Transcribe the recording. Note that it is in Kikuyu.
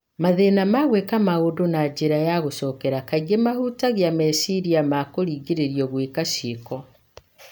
Mathĩna ma gwĩka maũndũ na njĩra ya gũcokera kaingĩ mahutagia meciria ma kũringĩrĩrio gwĩka cĩiko